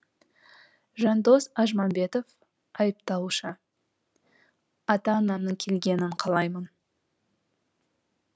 жандос ажмамбетов айыпталушы ата анамның келгенін қалаймын